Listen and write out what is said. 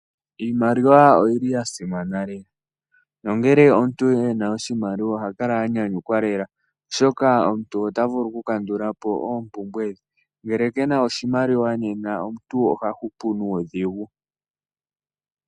Iimaliwa oyili ya simana lela, nongele omuntu ena oshimaliwa oha kala a nyanyukwa lela, oshoka omuntu ota vulu oku kandula po oompumbwe dhe, ngele kena oshimaliwa , nena omuntu oha hupu nuudhigu.